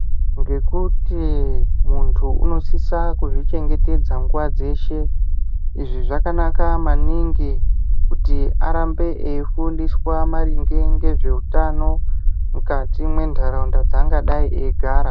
Ngekuti vantu vanosisa kuzvichengwtedza nguwa dzeshe izvi zvakanaka maningi kuti arambe eifundiswa maringe nezvehutano mukati mendaraunda dzangadai ndeigara.